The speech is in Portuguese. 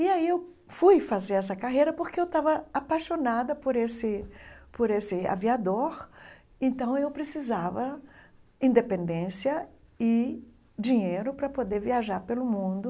E aí eu fui fazer essa carreira porque eu estava apaixonada por esse por esse aviador, então eu precisava independência e dinheiro para poder viajar pelo mundo.